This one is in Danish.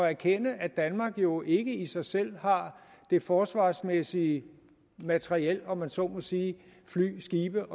erkende at danmark jo ikke i sig selv har det forsvarsmæssige materiel om man så må sige fly skibe